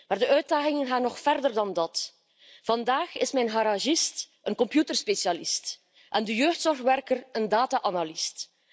Maar de uitdagingen gaan nog verder dan dat. Vandaag is mijn garagist een computerspecialist, de jeugdzorgwerker een data analist.